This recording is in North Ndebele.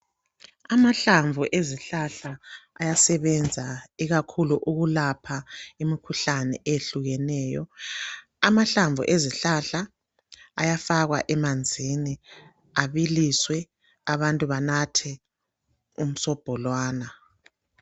Amahlamvu ezihlala ayasebenza ikakhulu ukulapha imikhuhlane eyehlukeneyo. Amahlamvu ezihlahla ayafakwa emanzini abiliswe abantu banathe umsobho lwana.